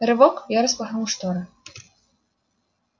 рывок я распахнул шторы